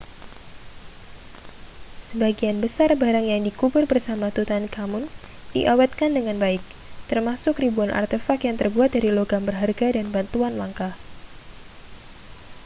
sebagian besar barang yang dikubur bersama tutankhamun diawetkan dengan baik termasuk ribuan artefak yang terbuat dari logam berharga dan batuan langka